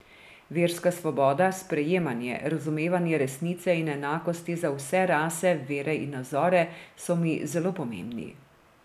Verska svoboda, sprejemanje, razumevanje resnice in enakosti za vse rase, vere in nazore so mi zelo pomembni.